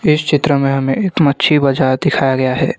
इस चित्र में हमें एक मच्छी बाजार दिखाया गया है।